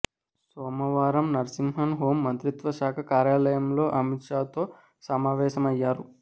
సోమవారం నరసింహన్ హోం మంత్రిత్వ శాఖ కార్యాలయంలో అమిత్ షాతో సమావేశమయ్యారు